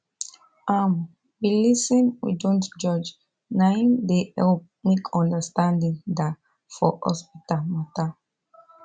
um we lis ten we dont judge naim dey help make understanding da for hospital matter